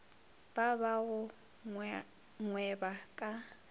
ba ba go gweba ka